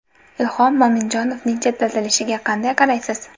Ilhom Mo‘minjonovning chetlatilishiga qanday qaraysiz?